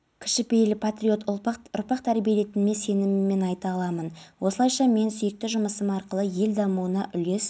департамент бастығының сөзіне қарағанда жалын қоймадағы өзге резервуарларға өтпеген өртті сөндіруге жұмылдырылған техника мен адамның көмегімен